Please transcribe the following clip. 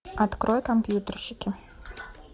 открой компьютерщики